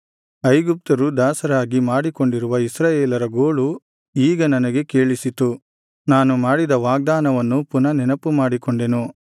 ಐಗುಪ್ತರು ದಾಸರಾಗಿ ಮಾಡಿಕೊಂಡಿರುವ ಇಸ್ರಾಯೇಲರ ಗೋಳು ಈಗ ನನಗೆ ಕೇಳಿಸಿತು ನಾನು ಮಾಡಿದ ವಾಗ್ದಾನವನ್ನು ಪುನಃ ನೆನಪುಮಾಡಿಕೊಂಡೆನು